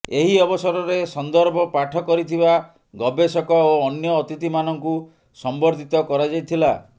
ଏହି ଅବସରରେ ସନ୍ଦର୍ଭ ପାଠ କରିଥିବା ଗବେଷକ ଓ ଅନ୍ୟ ଅତିଥିମାନଙ୍କୁ ସମ୍ବର୍ଦ୍ଧିତ କରାଯାଇଥିଲା